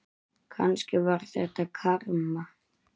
Kannski var þetta karma.